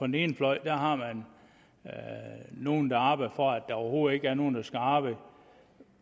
den ene fløj har nogle der arbejder for at der overhovedet ikke er nogen der skal arbejde